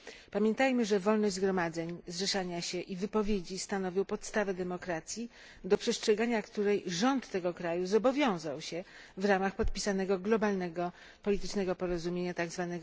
Pamiętajmy, że wolność zgromadzeń, zrzeszania się i wypowiedzi stanowią podstawę demokracji, do przestrzegania której rząd tego kraju zobowiązał się w ramach podpisanego globalnego politycznego porozumienia, tzw.